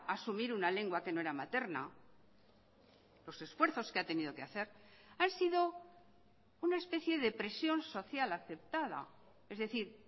asumir una lengua que no era materna los esfuerzos que ha tenido que hacer hansido una especie de presión social aceptada es decir